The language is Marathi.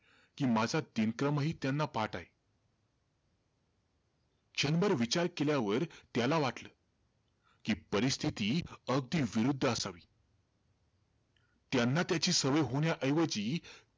कि माझा दिनक्रमही त्यांना पाठ आहे. क्षणभर विचार केल्यावर त्याला वाटलं, कि परिस्थिती अगदी विरुद्ध असावी. त्यांना त्याची सवय होण्याऐवजी,